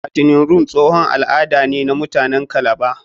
Fattening room tsohon al'ada ne na muatanen kalaba.